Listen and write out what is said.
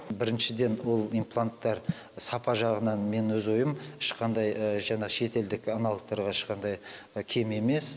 біріншіден ол импланттар сапа жағынан мен өз ойым ешқандай жаңа шетелдік аналогтарға ешқандай кем емес